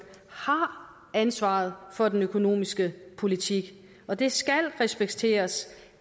har ansvaret for den økonomiske politik og det skal respekteres